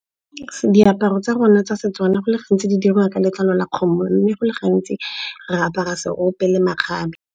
Diaparo tsa rona tsa seTswana go le gantsi di dirwa ka letlalo la kgomo. Mme go le gantsi re apara seope le makgabe.